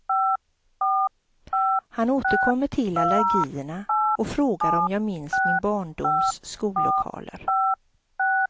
Han återkommer till allergierna och frågar om jag minns min barndoms skollokaler.